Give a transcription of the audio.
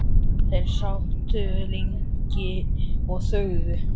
Þeir sátu lengi og þögðu.